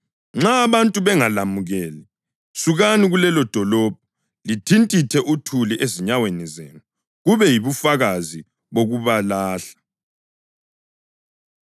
Nxa abantu bengalemukeli, sukani kulelodolobho lithintithe uthuli ezinyaweni zenu, kube yibufakazi bokubalahla.”